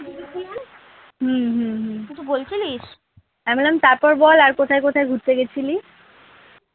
হম হম হম আমি বললাম তারপর বল আর কোথায় কোথায় ঘুরতে গেছিলি?